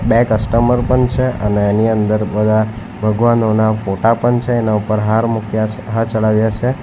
બે કસ્ટમર પન છે અને એની અંદર બધા ભગવાનોના ફોટા પન છે એના ઉપર હાર મુક્યા છે હાર ચડાવ્યા છે.